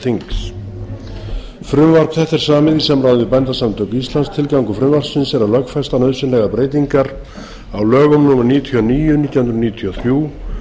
þetta er samið í samráði við bændasamtök íslands tilgangur frumvarpsins er að lögfesta nauðsynlegar breytingar á lögum númer níutíu og níu nítján hundruð níutíu og þrjú